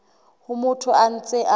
ha motho a ntse a